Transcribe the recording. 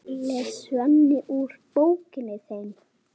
les Svenni úr þeim.